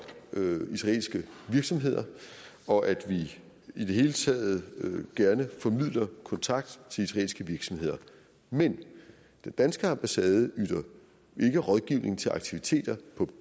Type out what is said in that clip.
israelske virksomheder og at vi i det hele taget gerne formidler kontakt til israelske virksomheder men den danske ambassade yder ikke rådgivning til aktiviteter i